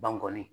Bankɔni